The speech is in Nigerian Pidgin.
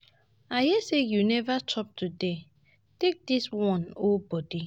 I hear say you never chop today, take dis wan hold body